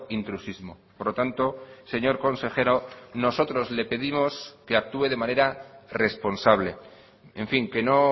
intrusismo por lo tanto señor consejero nosotros le pedimos que actúe de manera responsable en fin que no